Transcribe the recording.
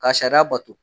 Ka sariya bato